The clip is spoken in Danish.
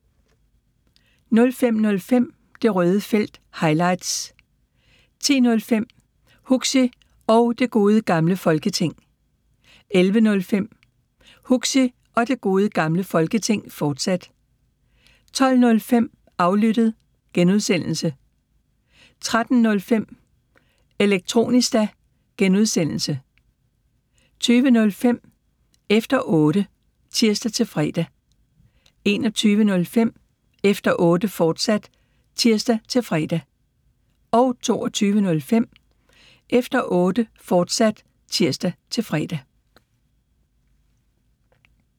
05:05: Det Røde Felt – highlights 10:05: Huxi og Det Gode Gamle Folketing 11:05: Huxi og Det Gode Gamle Folketing, fortsat 12:05: Aflyttet (G) 13:05: Elektronista (G) 20:05: Efter Otte (tir-fre) 21:05: Efter Otte, fortsat (tir-fre) 22:05: Efter Otte, fortsat (tir-fre)